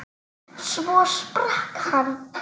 Svo sprakk hann.